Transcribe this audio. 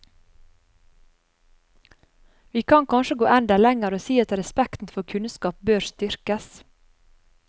Vi kan kanskje gå enda lenger, og si at respekten for kunnskap bør styrkes.